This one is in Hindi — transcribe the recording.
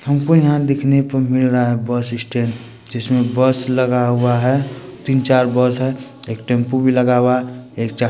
हमको यहां देखने को मिल रहा है बस स्टैंड जिसमें बस लगा हुआ है तीन-चार बस है एक टेम्पू भी लगा हुआ है ।एक च--